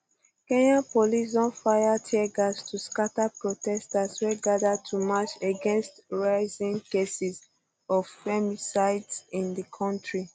kenyan police don fire tear gas to scata protesters wey gada to march against rising cases of femicide in di kontri